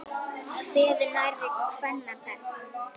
Kveður nærri kvenna best.